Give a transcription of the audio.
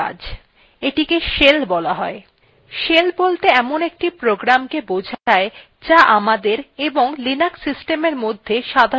shell বলতে এমন acts programকে বোঝায় আমাদের এবং linux systemwe মধ্যে সাধারণ ক্ষেত্র হিসাবে কাজ করে